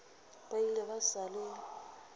ba ile ba sa le